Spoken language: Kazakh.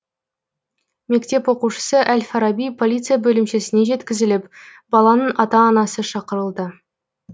мектеп оқушысы әл фараби полиция бөлімшесіне жеткізіліп баланың ата анасы шақырылды